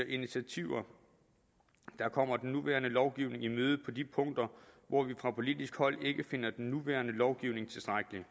initiativer der kommer den nuværende lovgivning i møde på de punkter hvor vi fra politisk hold ikke finder den nuværende lovgivning tilstrækkelig